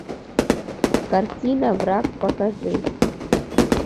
картина враг покажи